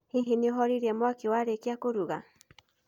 Hihi nĩ ũhoririe mwaki warĩkia kũruga?